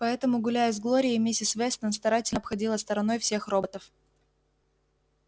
поэтому гуляя с глорией миссис вестон старательно обходила стороной всех роботов